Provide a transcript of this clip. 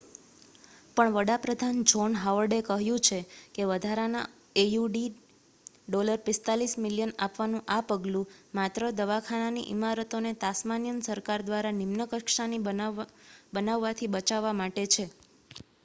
પણ વડા પ્રધાન જૉહ્ન હાવર્ડે કહ્યું છે કે વધારાના aud$45 મિલિયન આપવાનું આ પગલું માત્ર દવાખાનાની ઇમારતોને તાસ્માનિયન સરકાર દ્વારા નિમ્ન કક્ષાની બનાવવાથી બચાવવા માટે છે